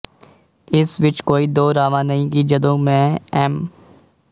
ਇਸ ਵਿੱਚ ਕੋਈ ਦੋ ਰਾਵਾਂ ਨਹੀਂ ਕਿ ਜਦੋਂ ਮੈਂ ਐਮ